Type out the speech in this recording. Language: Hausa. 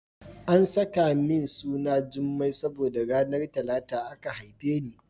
An saka min suna Jummai saboda ranar Talata aka haife ni.